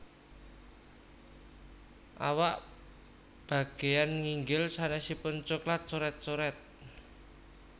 Awak bageyan nginggil sanésipun coklat coret coret